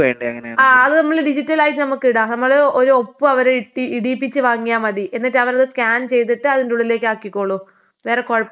ആഹ് അത് നമ്മള് ഡിജിറ്റലായിട്ട് നമ്മക്ക് ഇടാം നമ്മള് ഒരു ഒപ്പ് അവര് ഇട്ട് ഇടീപ്പിച്ച് വാങ്ങിയാ മതി എന്നിട്ട് അവര് സ്കാൻ ചെയ്തിട്ട് അതിനുള്ളിലേക്ക് ആക്കിക്കോളും. വേറെ കൊഴപ്പൊന്നും ഇല്ലാ.